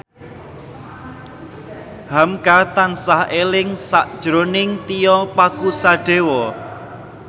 hamka tansah eling sakjroning Tio Pakusadewo